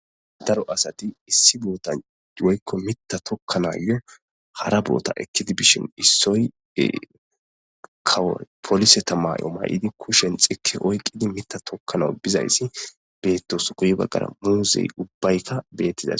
Daro asati issi boota woykko mita tokkanayyo hara boota ekkidi bishin issoy kawoy polise tamayo may'idi kushen xike oyqidi mita tokkana bizayssi beettos guyi baggara muuzey ubbaykka beettida.